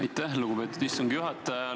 Aitäh, lugupeetud istungi juhataja!